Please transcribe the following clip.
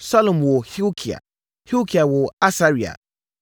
Salum woo Hilkia, Hilkia woo Asaria.